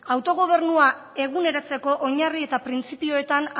autogobernua eguneratzeko oinarri eta printzipioetan